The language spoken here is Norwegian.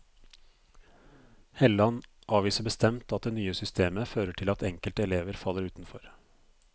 Helland avviser bestemt at det nye systemet fører til at enkelte elever faller utenfor.